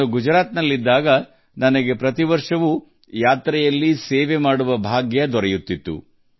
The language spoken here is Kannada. ನಾನು ಗುಜರಾತಿನಲ್ಲಿದ್ದೆ ಹಾಗಾಗಿ ಪ್ರತಿ ವರ್ಷ ಈ ಯಾತ್ರೆಯಲ್ಲಿ ಸೇವೆ ಸಲ್ಲಿಸುವ ಸೌಭಾಗ್ಯ ನನಗೂ ಸಿಗುತ್ತಿತ್ತು